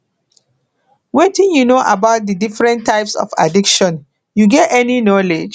wetin you know about di different types of addiction you get any knowledge